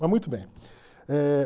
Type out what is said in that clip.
Mas muito bem. Eh